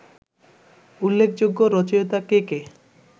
উল্লেখযোগ্য রচিয়তা কে কে